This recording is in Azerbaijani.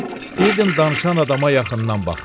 İstəyirdim danışan adama yaxından baxım.